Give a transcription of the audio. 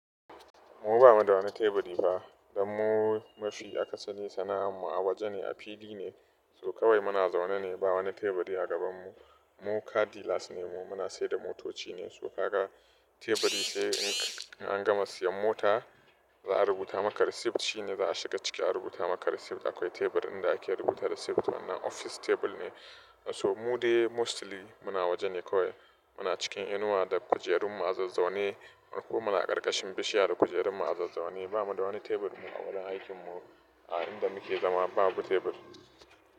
Mu ba mu da wani teburi ba dan mu mafi aka sari sana'ar mu a waje ne, a fili ne. So kawai muna zaune ne ba wani teburi a gabanmu. Mu Car dillars ne mu, muna saida motoci ne. So kaga teburi sai in an gama siyan mota, za a rubuta maka reciet shine za a shiga ciki a rubuta maka risit. Akwai tebur inda ake rubuta risit wannan office tebur ne. So mu dai mostly muna waje ne kawai. Muna cikin inuwa da kujerun mu a zaune ko muna karkashin bishiya da kujerun mu a zaune. Ba mu da wani tebur mu a wajen aikin mu. A inda muke zama babu tebur.